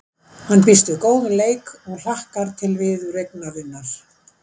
Hann býst við góðum leik og hlakkar til viðureignarinnar.